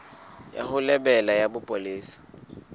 ya ho lebela ya bopolesa